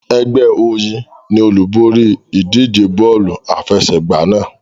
Ẹgbẹ́ Oyin ni olúborí ìdíje bọ́ọ̀lù àfẹsẹ̀gbá náà.